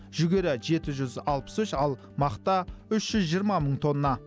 жүгері жеті жүз алпыс үш ал мақта үш жүз жиырма мың тонна